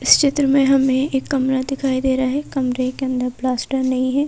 इस चित्र में हमें एक कमरा दिखाई दे रहा है कमरे के अंदर प्लास्टर नहीं है।